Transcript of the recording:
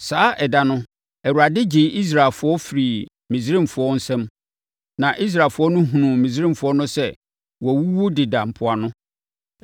Saa ɛda no Awurade gyee Israelfoɔ firii Misraimfoɔ nsa mu. Na Israelfoɔ no hunuu Misraimfoɔ no sɛ wɔawuwu deda mpoano.